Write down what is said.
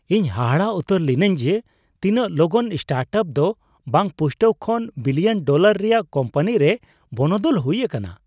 ᱤᱧ ᱦᱟᱦᱟᱲᱟᱜ ᱩᱛᱟᱹᱨ ᱞᱤᱱᱟᱹᱧ ᱡᱮ ᱛᱤᱱᱟᱹᱜ ᱞᱚᱜᱚᱱ ᱥᱴᱟᱨᱴᱟᱯ ᱫᱚ ᱵᱟᱝᱯᱩᱥᱴᱟᱹᱣ ᱠᱷᱚᱱ ᱵᱤᱞᱤᱭᱚᱱ ᱰᱚᱞᱟᱨ ᱨᱮᱭᱟᱜ ᱠᱳᱢᱯᱟᱱᱤ ᱨᱮ ᱵᱚᱱᱚᱫᱚᱞ ᱦᱩᱭ ᱟᱠᱟᱱᱟ ᱾